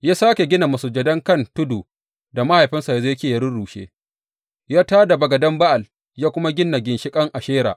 Ya sāke gina masujadan kan tudun da mahaifinsa Hezekiya ya rurrushe; ya tā da bagadan Ba’al, ya kuma gina ginshiƙan Ashera.